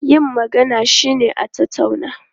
Yin magana shine a tattauna.